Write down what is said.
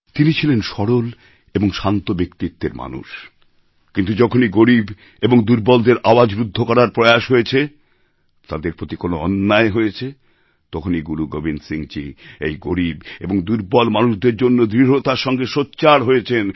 তিনি ছিলেন সরল এবং শান্ত ব্যক্তিত্বের মানুষ কিন্তু যখনই গরীব এবং দুর্বলের আওয়াজ রুদ্ধ করার প্রয়াস হয়েছে তাদের প্রতি কোনও অন্যায় হয়েছে তখনই গুরু গোবিন্দ সিংজী এই গরীব এবং দুর্বল মানুষদের জন্য দৃঢ়তার সঙ্গে সোচ্চার হয়েছেন